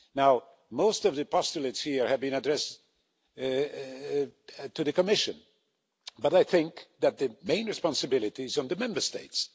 Now, most of the postulates here have been addressed to the Commission, but I think that the main responsibility is on the Member States.